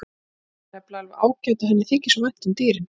Hún er nefnilega alveg ágæt og henni þykir svo vænt um dýrin.